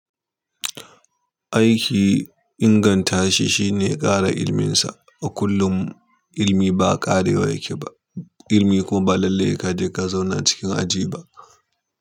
Aiki inganta shi shine ƙara ilimin sa. A kullum ilmi ba ƙarewa yake ba, ilmi kuma ba lalle sai ka je ka zauna a cikin aji ba.